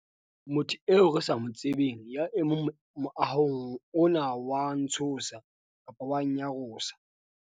motho eo re sa mo tsebeng ya emeng moahong ona o a ntshosa-nnyarosa